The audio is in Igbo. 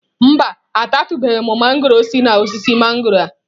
Mba,a tatụbeghi m mangọrọ si n'osisi mangọrọ a.